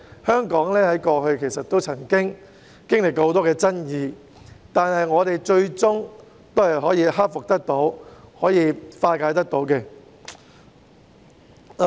香港過去亦曾經歷過很多爭議，但我們最終都可以克服困難，化解矛盾。